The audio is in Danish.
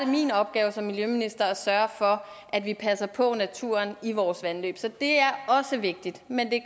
min opgave som miljøminister at sørge for at vi passer på naturen i vores vandløb så det er også vigtigt men det